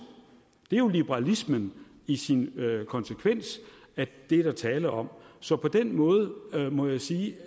det er jo liberalismen i sin konsekvens der er tale om så på den måde må jeg sige